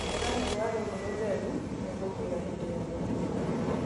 Hũra rũũa rũrũ rũtheru. Nĩ ngũkwĩra hĩndĩ ya gũtiga.